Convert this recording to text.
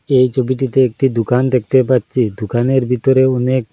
এই ছবিটিতে একটি দুকান দেখতে পাচ্ছি দুকানের ভিতরে অনেক --